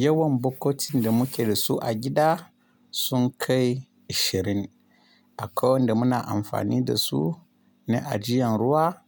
Yawan bokotin da muke da su a gida sun kai ishirin. Akwai wanda muna amfani da su na ajiyan ruwa,